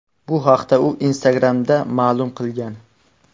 Bu haqda u Instagram’da ma’lum qilgan.